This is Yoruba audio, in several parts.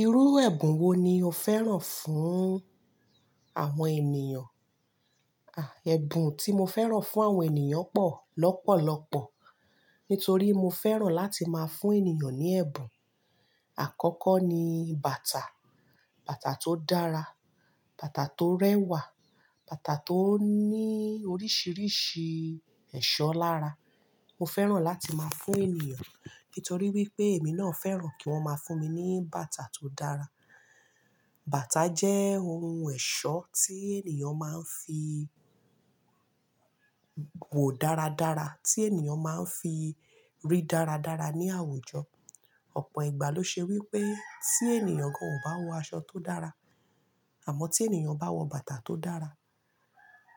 Irú ẹ̀bùn wo ni o fẹ́ràn fún àwọn ènìyàn? Ẹ̀bùn tí mo fẹ́ràn fún àwọn ènìyàn pọ̀ lọ́pọ̀lọpọ̀, nítorí mo fẹ́ràn láti máa fún ènìyàn ní ẹ̀bùn. Àkọ́kọ́ ni bàtà, bàtà tó dára, bàtà tó rẹwà, bàtà tó ní oríṣiríṣi ẹ̀ṣọ́ lára. Mo fẹ́ràn láti máa fún ènìyàn, nítorí wípé èmi náà fẹ́ràn kí wón máa fún mi ní bàtà tó dára. Bàtà jẹ́ ohun ẹ̀ṣọ́ tí ènìyàn máa ń fi wò dáradára, tí ènìyàn máa ń fi rí dáradára ní àwùjọ. Ọ̀pọ̀ ìgbà ló ṣe wípé tí ènìyàn kan ò bá wọ aṣọ tó dára, àmọ́ tí ènìyàn bá wọ bàtà tó dára,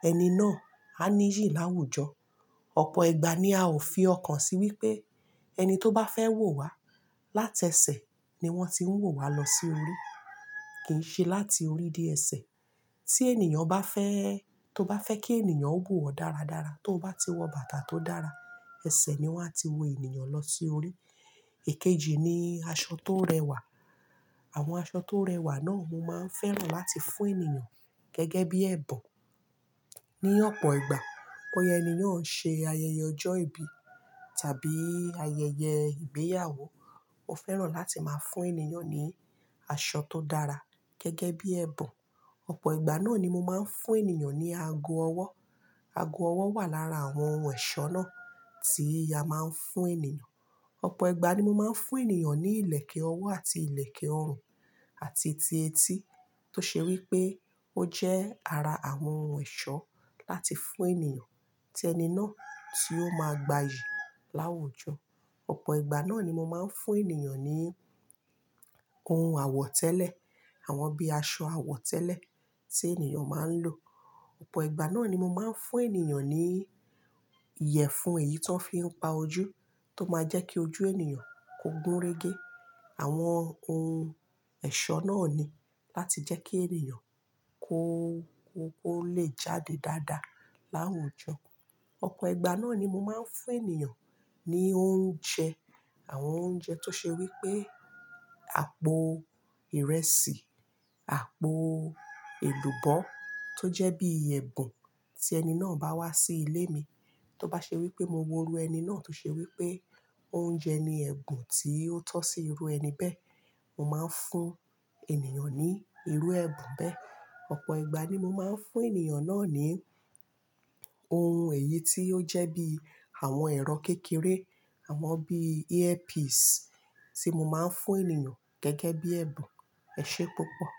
ẹni náà á níyì láwùjọ. Ọ̀pọ̀ ìgbà ni a ò fi ọkàn sí wípé ẹni tó bá fẹ́ wò wa láti ẹsẹ̀ ni wọ́n ti ń wò wa lọ sí orí, kì í ṣe láti orí dé ẹsẹ̀. Tí ènìyàn bá fẹ́, tó bá fẹ́ kí ènìyàn wò ó dáradára, tó bá ti wọ bàtà tó dára, ẹsẹ̀ ni wọ́n á ti wo ènìyàn lọ sí orí. Èkejì ni aṣọ tó rẹwà. Àwọn aṣọ tó rẹwà náà mo máa ń fẹ́ràn láti fún ènìyàn gẹ́gẹ́ bí ẹ̀bùn. Ní ọ̀pọ̀ ìgbà bóya ènìyàn ń ṣe ayẹyẹ ọjọ́ ìbí tàbí ayẹyẹ ìgbéyàwó, mo fẹ́ràn láti máa fún ènìyàn ní aṣọ tó dára gẹ́gẹ́ bí ẹ̀bùn. Ọ̀pọ̀ ìgbà náà ni mo máa ń fún ènìyàn ní ago ọwọ́. Ago ọwọ́ wà lára àwọn ohun ẹ̀ṣọ́ náà tí a máa ń fún ènìyàn. Ọ̀pọ̀ ìgbà ni mo máa ń fún ènìyàn ní ìlẹ̀kẹ̀ ọwọ́ àti ìlẹ̀kẹ̀ ọrùn àti ti etí tó ṣe wípé ó jẹ́ ara àwọn ohun ẹ̀ṣọ́ láti fún ènìyàn tí ẹni náà ti ó máa gbayì láwùjọ. Ọ̀pọ̀ ìgbà náà ni mo máa ń fún ènìyàn ní ohun àwọ̀tẹ́lẹ̀, àwọn bíi aṣọ àwọ̀tẹ́lẹ̀ tí ènìyàn máa ń lò. Ọ̀pọ̀ ìgbà náà ni mo máa ń fún ènìyàn ní ìyẹ̀fun èyí tó ń fi ń pa ojú tó máa jẹ́ kí ojú ènìyàn kó gúnrégé. Àwọn ohun ẹ̀ṣọ́ náà ni láti jẹ́ kí ènìyàn kó lè jáde dáadáa láwùjọ. Ọ̀pọ̀ ìgbà náà ni mo máa ń fún ènìyàn ní oúnjẹ, àwọn oúnjẹ tó ṣe wípé àpò ìrẹsì, àpò èlùbọ́ tó jẹ́ bí ẹ̀bùn tí ẹni náà bá wá sí ilé mi, tó bá ṣe wípé mo wo irú ẹni náà tó ṣe wípé oúnjẹ ni ẹ̀bùn tí ó tọ́ sí irú ẹni bẹ́ẹ̀, mo máa ń fún ènìyàn ní irú ẹ̀bùn bẹ́ẹ̀. Ọ̀pọ̀ ìgbà ni mo máa ń fún ènìyàn náà ní ohun èyí tí ó jẹ́ bí àwọn ẹ̀rọ kékeré, àwọn bí earpiece tí mo máa ń fún ènìyàn gẹ́gẹ́ bí ẹ̀bùn. Esé púpọ̀?